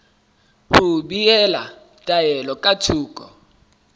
ho behela taelo ka thoko